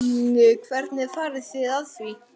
Hvernig farið þið að því?